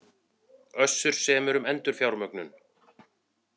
Össur semur um endurfjármögnun